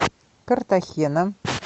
картахена